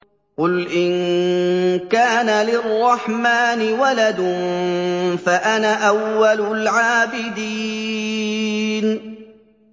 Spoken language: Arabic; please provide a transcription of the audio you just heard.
قُلْ إِن كَانَ لِلرَّحْمَٰنِ وَلَدٌ فَأَنَا أَوَّلُ الْعَابِدِينَ